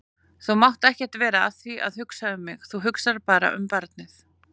Þú mátt ekkert vera að því að hugsa um mig, þú hugsar bara um barnið.